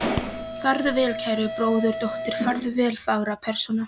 Farðu vel, kæra bróðurdóttir, farðu vel fagra persóna.